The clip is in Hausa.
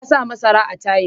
Ya sayi marasa tayil.